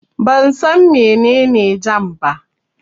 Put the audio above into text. Ban san mene ne jam ba